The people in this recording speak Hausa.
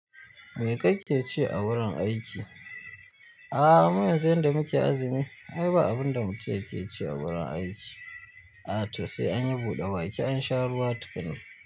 Me kake ci a wurin aiki? A'h mu yanzu yanda muke azumi, ai ba abun da mutum yake ci a wurin aiki. A to se an yi buɗa baki an sha ruwa tukuna.